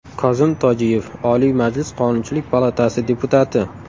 Kozim Tojiyev, Oliy Majlis Qonunchilik palatasi deputati.